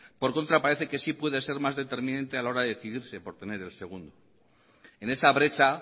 por contra parece que sí puede ser más determinante a la hora decidirse por tener el segundo en esa brecha